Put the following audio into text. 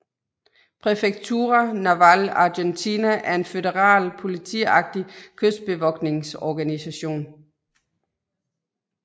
Prefectura Naval Argentina er en føderal politiagtig kystbevogtningsorganisation